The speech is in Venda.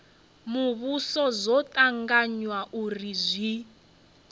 muvhuso zwo tanganywa uri zwi